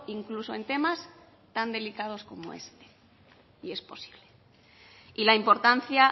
incluso en temas tan delicados como este y es posible y la importancia